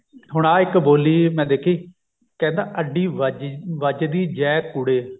ਹੁਣ ਆਹ ਇੱਕ ਬੋਲੀ ਮੈਂ ਦੇਖੀ ਕਹਿੰਦਾ ਅੱਡੀ ਵੱਜਦੀ ਜੇ ਕੂੜੇ